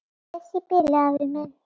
Bless í bili, afi minn.